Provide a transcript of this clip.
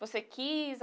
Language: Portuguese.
Você quis?